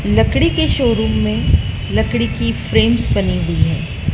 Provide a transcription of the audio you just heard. लकड़ी के शोरूम में लकड़ी की फ्रेम्स बनी हुई है।